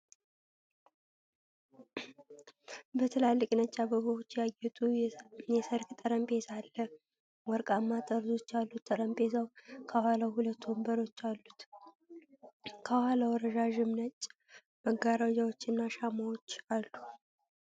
በትላልቅ ነጭ አበባዎች ያጌጠ የሠርግ ጠረጴዛ አለ። ወርቃማ ጠርዞች ያሉት ጠረጴዛው ከኋላው ሁለት ወንበሮች አሉት። ከኋላው ረዣዥም ነጭ መጋረጃዎችና ሻማዎች አሉ።